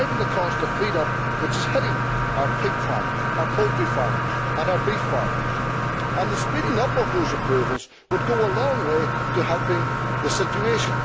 We are driving up the cost of feed, which is hitting our pig farmers, our poultry farmers and our beef farmers, and speeding up those approvals would go a long way to helping the situation.